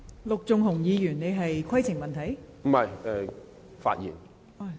陸頌雄議員，你是否要提出規程問題？